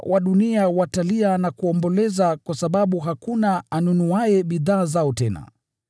“Wafanyabiashara wa dunia watalia na kumwomboleza kwa sababu hakuna anunuaye bidhaa zao tena: